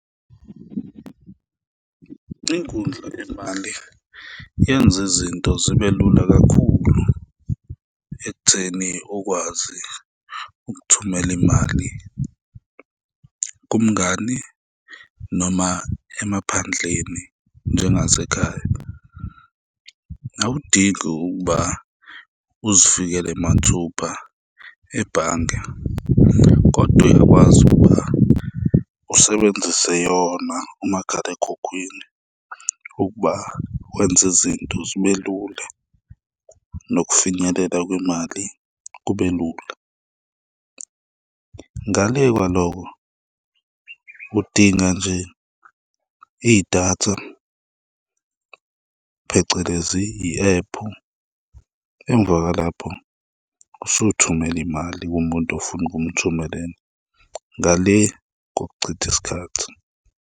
Inkundla yezimali yenza izinto zibe lula kakhulu ekutheni ukwazi ukuthumela imali kumngani noma emaphandleni njengasekhaya. Awudingi ukuba uzifikele mathupha ebhange kodwa uyakwazi ukuba usebenzise yona umakhalekhukhwini ukuba wenza izinto zibe lula nokufinyelela kwemali kube lula. Ngale kwaloko, udinga nje idatha, phecelezi i-ephu, emva kwalapho usuthumela imali kumuntu ofuna ukumthumelela ngale kokuchitha isikhathi.